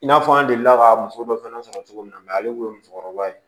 I n'a fɔ an delila ka muso dɔ fana sɔrɔ cogo min na ale kun ye musokɔrɔba ye